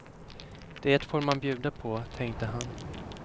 Det får man bjuda på, tänkte han.